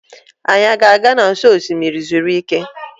Anyị a ga-aga n'ụsọ osimiri zuru ike?